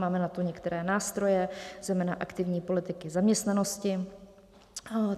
Máme na to některé nástroje, zejména aktivní politiky zaměstnanosti.